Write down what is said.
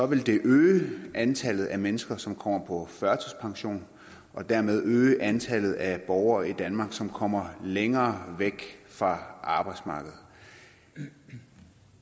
vil det øge antallet af mennesker som kommer på førtidspension og derved øge antallet af borgere i danmark som kommer længere væk fra arbejdsmarkedet